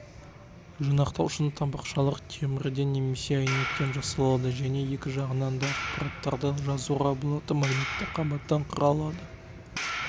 жинақтаушының табақшалар темірден немесе әйнектен жасалады және екі жағынан да ақпараттарды жазуға болатын магнитті қабаттан құралады